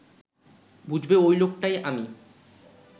বুঝবে ওই লোকটাই আমি